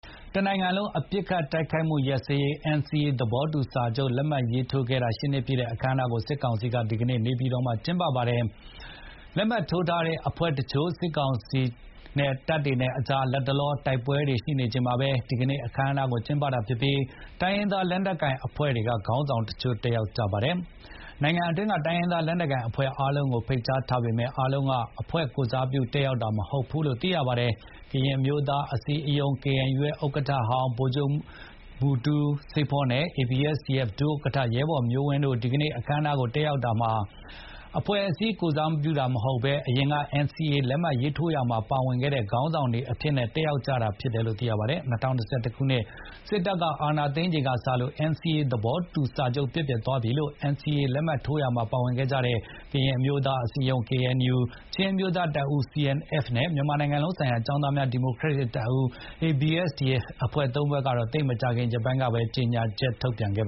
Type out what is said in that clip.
တနိုင်ငံလုံး ပစ်ခတ်တိုက်ခိုက်မှု ရပ်စဲရေး NCA သဘောတူစာချုပ် လက်မှတ်ရေးထိုးခဲ့တာ ၈ နှစ်ပြည့်တဲ့ အခမ်းအနားကို စစ်ကောင်စီက ဒီကနေ့ နေပြည်တော်မှာကျင်းပပါတယ်။ NCA လက်မှတ်ထိုးထားတဲ့ အဖွဲ့တချို့နဲ့ စစ်ကောင်စီတပ်တွေကြား လတ်တလောတိုက်ပွဲတွေ ရှိနေချိန်မှာပဲ ဒီကနေ့အခမ်းအနားကို ကျင်းပတာဖြစ်ပြီး တိုင်းရင်းသား လက်နက်ကိုင်အဖွဲ့တွေက ခေါင်းဆောင်တချို့တက်ရောက်ကြပါတယ်။ နိုင်ငံတွင်းက တိုင်းရင်းသားလက်နက်ကိုင် အဖွဲ့အားလုံးကို ဖိတ်ကြားထားပေမဲ့၊ အားလုံးကအဖွဲ့ကိုယ်စားပြု တက်ရောက်တာ မဟုတ်ဘူးလို့လည်းသိရပါတယ်။ ကရင်အမျိုးသားအစည်းအရုံး KNU ဥက္ကဋ္ဌဟောင်း ဗိုလ်ချုပ်ကြီးမူတူးဆေးဖိုး နဲ့ ABSDF က ဒုဥက္ကဋ္ဌ ရဲဘော်မျိုးဝင်း တို့ ဒီကနေ့ အခမ်းအနားကို တက်ရောက်ကြရာမှာ အဖွဲ့အစည်းကိုယ်စားပြု အနေနဲ့ မဟုတ်ဘဲ NCA လတ်မှတ် ရေးထိုးရာမှာပါဝင်ခဲ့တဲ့ ခေါင်းဆောင်တွေ အဖြစ်နဲ့ တက်ရောက်ခဲ့ကြတာ ဖြစ်ပါတယ်။ ၂၀၂၁ ခုနှစ် စစ်တပ် အာဏာသိမ်းချိန်ကစလို့ NCA သဘောတူစာချုပ် ပျက်ပြယ်သွားပြီလို့ NCA လက်မှတ်ရေးထိုးရာမှာပါဝင်ခဲ့ကြတဲ့ ကရင်အမျိုးသားအစည်းအရုံး KNU ၊ ချင်းအမျိုးသားတပ်ဦး CNF နဲ့ မြန်မာနိုင်ငံလုံးဆိုင်ရာ ကျောင်းသားများ ဒီမိုကရက်တစ်တပ်ဦး ABSDF အဖွဲ့သုံးဖွဲ့က သိပ်မကြာခင် ရက်ပိုင်းကပဲ ကြေညာချက် ထုတ်ပြန်ခဲ့